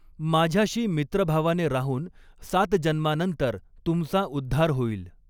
माझ्याशी मित्रभावाने राहून सात जन्मानंतर तुमचा उद्धार होईल.